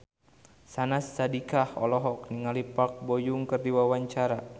Syahnaz Sadiqah olohok ningali Park Bo Yung keur diwawancara